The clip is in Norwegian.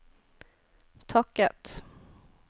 takket